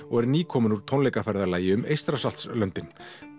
og er nýkominn úr tónleikaferðalagi um Eystrasaltslöndin